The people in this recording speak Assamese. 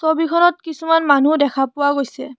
ছবিখনত কিছুমান মানুহো দেখা পোৱা গৈছে।